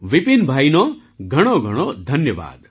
વિપિનભાઈનો ઘણોઘણો ધન્યવાદ